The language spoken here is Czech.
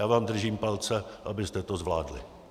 Já vám držím palce, abyste to zvládli.